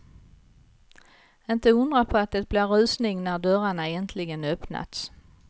Inte undra på att det blir rusning när dörrarna äntligen öppnats.